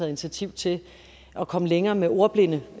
initiativ til at komme længere med ordblinde